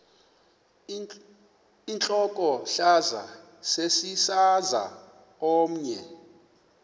intlokohlaza sesisaz omny